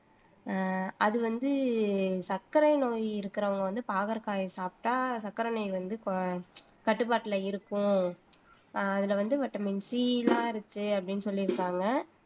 அஹ் அது வந்து சர்க்கரை நோய் இருக்கிறவங்க வந்து பாகற்காயை சாப்பிட்டா சர்க்கரை நோய் வந்து கட்டுப்பாட்டுல இருக்கும் ஆஹ் அதிலே வந்து வைட்டமின் சி எல்லாம் இருக்கு அப்படின்னு சொல்லியிருக்காங்க